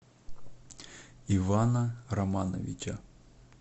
ивана романовича